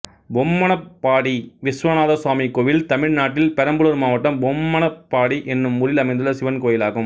பொம்மனப்பாடி விஸ்வநாதசுவாமி கோயில் தமிழ்நாட்டில் பெரம்பலூர் மாவட்டம் பொம்மனப்பாடி என்னும் ஊரில் அமைந்துள்ள சிவன் கோயிலாகும்